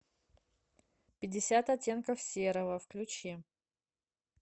пятьдесят оттенков серого включи